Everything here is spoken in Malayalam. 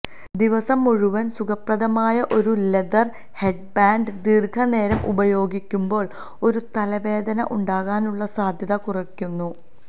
ദിവസം മുഴുവൻ സുഖപ്രദമായ ഒരു ലെതർ ഹെഡ്ബാൻഡ് ദീർഘനേരം ഉപയോഗിക്കുമ്പോൾ ഒരു തലവേദന ഉണ്ടാകാനുള്ള സാധ്യത കുറയ്ക്കുന്നു